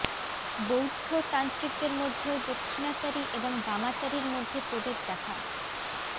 বৌদ্ধ তান্ত্রিকদের মধ্যেও দক্ষিণাচারী এবং বামাচারীর মধ্যে প্রভেদ দেখা